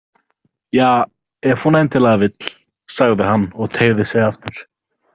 Ja, ef hún endilega vill, sagði hann og teygði sig aftur.